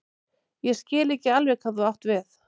Ég skil ekki alveg hvað þú átt við.